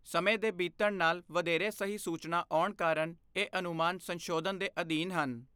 ਸਮੇਂ ਦੇ ਬੀਤਣ ਨਾਲ ਵਧੇਰੇ ਸਹੀ ਸੂਚਨਾ ਆਉਣ ਕਾਰਨ ਇਹ ਅਨੁਮਾਨ ਸੰਸ਼ੋਧਨ ਦੇ ਅਧੀਨ ਹਨ।